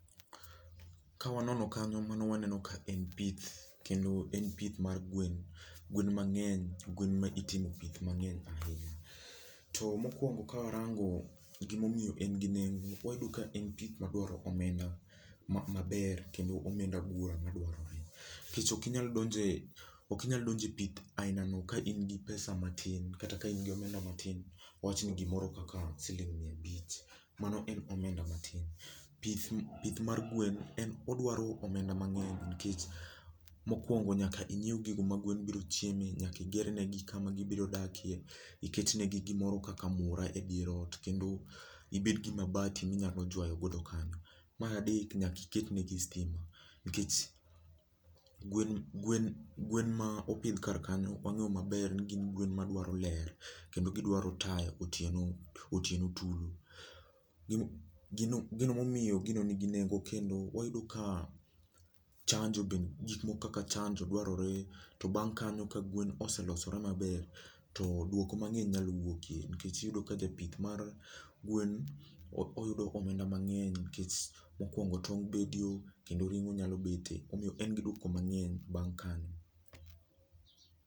Kawanono kanyo mano waneno ka en pith, kendo en pith mar gwen, gwen mang'eny, gwen ma itimo pith mang'eny ahinya. To, mokwongo kawarango gimomiyo en gi nengo wayudo ka en pith madwaro omenda ma maber kendo omenda buora madwarore. Nikech ok inyal donje, ok inyal donje pith aina no ka in gi pesa matin kata ka in gi omenda matin, wawach ni gimoro kaka siling miya abich. Mano en omenda matin. Pith ma pith mar gwen en odwaro omenda mang'eny nikech, mokwongo nyaka inyiew gigo ma gwen biro chieme, nyaki igernegi kama gibiro dakie, iket negi gimoro kaka mura e dier ot, kendo ibed gi mabati minyalo jwayo godo kanyo. Mar adek, nyaki iket negi stima nikech gwen gwen gwen ma opidh kar kanyo wang'eyo maber ni gin gwen madwaro ler kendo gidwaro taya otieno otieno tulu. gino gino momiyo gino nigi nengo kendo wayuda ka chanjo gik moko kaka chanjo bende dwarore, to bang' kanyo ka gwen oselosore maber to duoko mang'ey nyalo wuokie nikech iyudo ka japith mar gwen o oyudo omenda mang'eny nikech mokwongo tong' bedio kendo ring'o nyalo bete. Omiyo en gi duoko mang'eny bang' kanyo